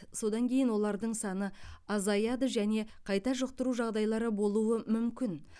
содан кейін олардың саны азаяды және қайта жұқтыру жағдайлары болуы мүмкін